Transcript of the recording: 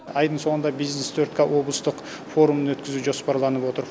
айдың соңында бизнес төрт ка форумын өткізу жоспарланып отыр